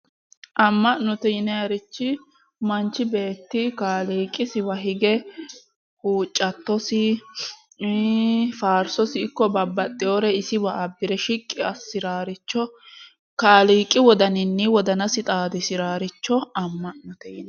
Amma'note yinannirich manchi beetti kaaliiqisiwa hige huuccattosi iii faarsosi ikko babbaxewore isiwa abbire shiqqi assiraaricho kaaliqi wodaninni wodanasi xaadisiraaricho amma'note yinanni.